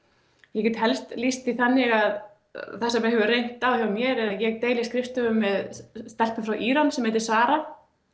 ég get helst lýst því þannig að það sem hefur reynt á hjá mér er að ég deili skrifstofu með stelpu frá Íran sem heitir Sara